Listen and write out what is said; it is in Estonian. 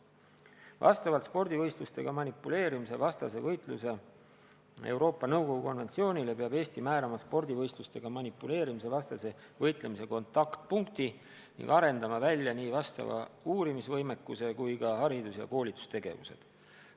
Vastavalt Euroopa Nõukogu konventsioonile spordivõistlustega manipuleerimise vastase võitluse kohta peab Eesti määrama spordivõistlustega manipuleerimise vastase võitlemise kontaktpunkti ning arendama välja nii vastava uurimisvõimekuse kui ka haridus- ja koolitustegevused.